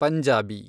Punjabi